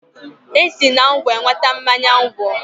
E si na ngwọ enweta mmanya ngwọ.